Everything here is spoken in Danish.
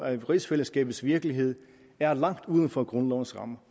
at rigsfællesskabets virkelighed er langt uden for grundlovens rammer